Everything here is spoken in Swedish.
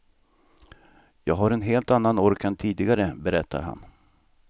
Jag har en helt annan ork än tidigare, berättar han.